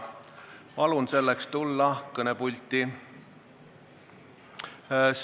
Palun selleks tulla kõnepulti!